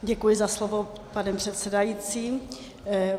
Děkuji za slovo, pane předsedající.